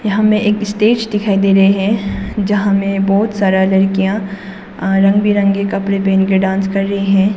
हमें एक स्टेज दिखाई दे रही है जहां में बहुत सारा लड़कियां रंग बिरंगे कपड़े पहन के डांस कर रही है।